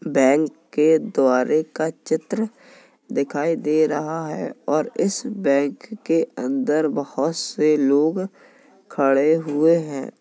Bank के द्वारे का चित्र दिखाई दे रहा है और इस बैंक के अंदर बहोत से लोग खड़े हुए है।